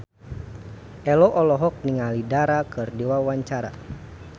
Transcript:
Ello olohok ningali Dara keur diwawancara